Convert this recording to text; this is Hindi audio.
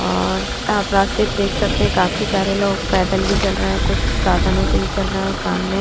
और आप रास्ते में देख सकते है कि काफी सारे लोग पैदल भी चल रहे है कुछ साधनों से भी चल रहे हैं और सामने --